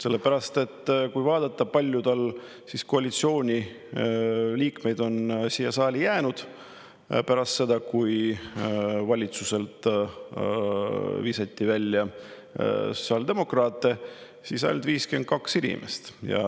Sellepärast et vaatame, kui palju koalitsiooni liikmeid on siia saali jäänud pärast seda, kui sotsiaaldemokraadid valitsusest välja visati: ainult 52 inimest.